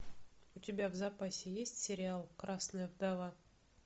у тебя в запасе есть сериал красная вдова